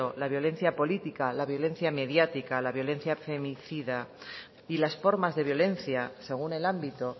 la violencia política la violencia mediática la violencia femicida y las formas de violencia según el ámbito